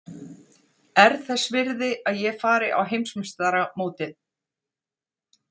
Er það þess virði að ég fari á Heimsmeistaramótið?